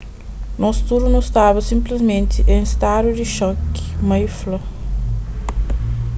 nos tudu nu staba sinplismenti en stadu di xoki mai fla